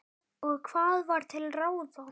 Og hvað var til ráða?